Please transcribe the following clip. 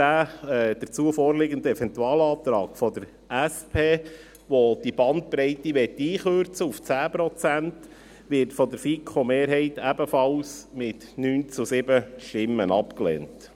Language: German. Der dazu vorliegende Eventualantrag der SP, welcher die Bandbreite auf 10 Prozent einkürzen möchte, wird von der FiKo-Mehrheit ebenfalls mit 9 zu 7 Stimmen abgelehnt.